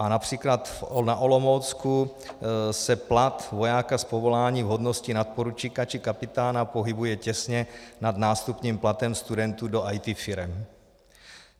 A například na Olomoucku se plat vojáka z povolání v hodnosti nadporučíka či kapitána pohybuje těsně nad nástupním platem studentů do IT firem.